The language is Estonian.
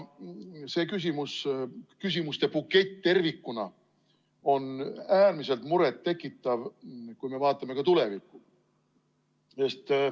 See küsimustebukett tervikuna on äärmiselt muret tekitav, kui me vaatame tulevikku.